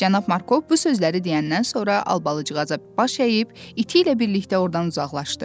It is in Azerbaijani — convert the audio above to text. Cənab Markov bu sözləri deyəndən sonra Albalıcığaza baş əyib, iti ilə birlikdə ordan uzaqlaşdı.